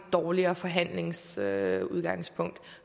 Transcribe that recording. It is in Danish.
dårligere forhandlingsudgangspunkt